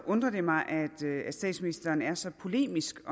undrer det mig at statsministeren er så polemisk